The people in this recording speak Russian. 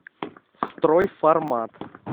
стройформат